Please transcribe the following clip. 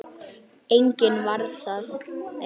Enginn varð var.